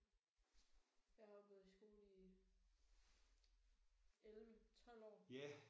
Jeg har jo gået i skole i 11 12 år